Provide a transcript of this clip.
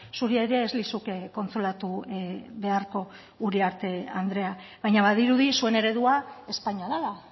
zuri ere ez lizuke kontsolatu beharko uriarte andrea baina badirudi zuen eredua espainia dela